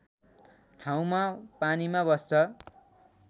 ठाउँमा पानीमा बस्छ